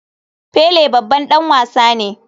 Pele babban dan wasa ne.